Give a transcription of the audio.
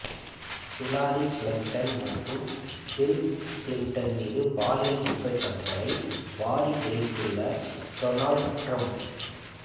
Hillary Clinton மற்றும் Bill Clinton மீது பாலியல் குற்றச்சாட்டுகளை வாரி இறைத்துள்ள டொனால்ட் டிரம்ப்